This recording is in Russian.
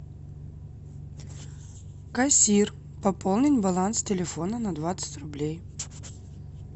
кассир пополнить баланс телефона на двадцать рублей